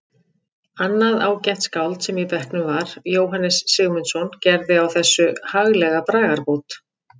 Annað ágætt skáld sem í bekknum var, Jóhannes Sigmundsson, gerði á þessu haglega bragarbót